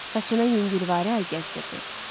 Saçına yüngülvarı əl gəzdirirdi.